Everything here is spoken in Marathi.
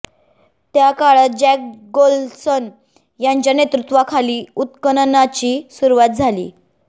त्या काळात जॅक गोल्सन यांच्या नेतृत्वाखाली उत्खननाची सुरुवात झाली